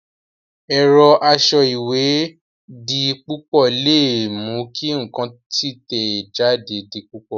Ẹ̀rọ asọ ìwé di púpọ̀ le mú kí ǹkan títẹ̀ jáde di púpọ̀